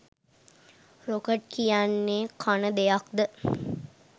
Rocket කියන්නේ කන දෙයක්ද​?